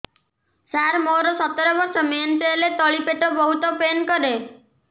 ସାର ମୋର ସତର ବର୍ଷ ମେନ୍ସେସ ହେଲେ ତଳି ପେଟ ବହୁତ ପେନ୍ କରେ